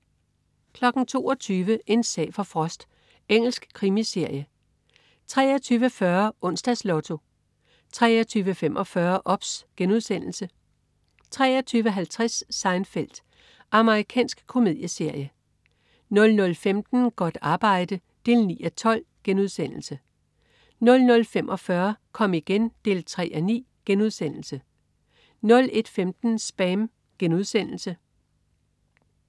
22.00 En sag for Frost. Engelsk krimiserie 23.40 Onsdags Lotto 23.45 OBS* 23.50 Seinfeld. Amerikansk komedieserie 00.15 Godt arbejde 9:12* 00.45 Kom igen 3:9* 01.15 SPAM*